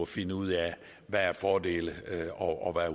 finde ud af hvad fordele og